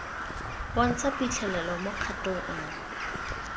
bontsha phitlhelelo mo kgatong nngwe